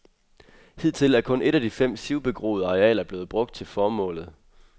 Hidtil er kun et af de fem sivbegroede arealer blevet brugt til formålet.